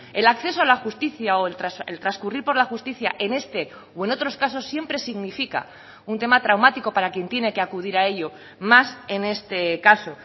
el acceso a la justicia o el transcurrir por la justicia en este o en otros casos siempre significa un tema traumático para quien tiene que acudir a ello más en este caso